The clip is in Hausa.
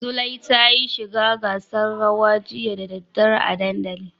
Zulai tayi shiga gasar rawa jiya da daddare a dandali.